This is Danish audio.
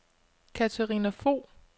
Katarina Fog